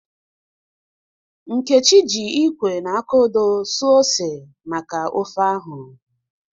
Nkechi ji ikwe na aka odoo suo ose maka ofe ahu.